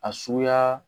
A suguya